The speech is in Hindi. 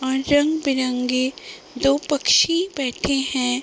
और रंग बिरंगे दो पक्षी बैठे हैं।